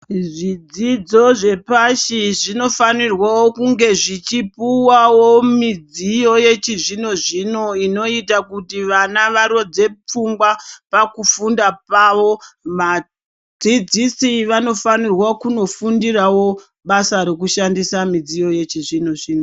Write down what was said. Zvidzidzo zvepashi zvinofanirwe kunge zvichipuvavo midziyo yechizvino-zvino inoita kuti vana varodze pfungwa pakufunda pavo. Vadzidzisi vanofanirwa kunofundiravo basa rekushandisa midziyo yechizvino-zvino.